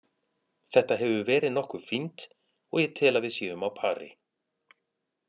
Þetta hefur verið nokkuð fínt og ég tel að við séum á pari.